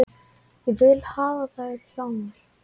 Ég vil hafa þær hjá mér.